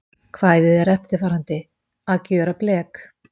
Kvæðið er eftirfarandi: Að gjöra blek